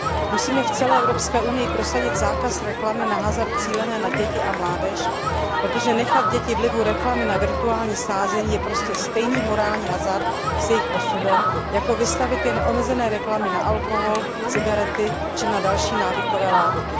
Musíme v celé Evropské unii prosadit zákaz reklamy na hazard cílené na děti a mládež, protože vystavit děti vlivu reklamy na virtuální sázení je prostě stejný morální hazard s jejich osudem, jako vystavit je neomezené reklamě na alkohol, cigarety či na další návykové látky.